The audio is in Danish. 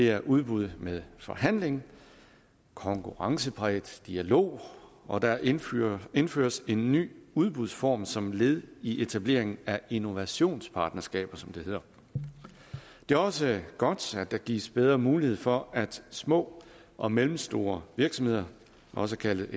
er udbud med forhandling og konkurrencepræget dialog og der indføres indføres en ny udbudsform som led i etableringen af innovationspartnerskaber som det hedder det er også godt at der gives bedre mulighed for at små og mellemstore virksomheder også kaldet